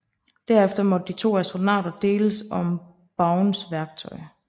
Derefter måtte de to astronauter deles om Bowens værktøj